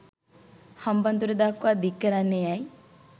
හම්බන්තොට දක්වා දික්කරන්නේ ඇයි.